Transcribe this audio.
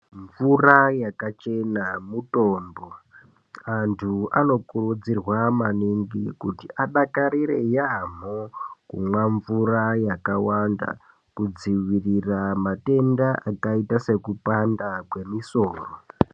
Mvura yakachena mutombo. Antu anokurudzirwa maningi kuti adakarire yaamho kumwa mvura yakawanda kudzivirira matenda akaita sekupanda kwemisoro.